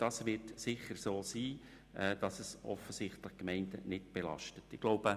Es ist sicher so, dass die Gemeinden offensichtlich nicht belastet werden.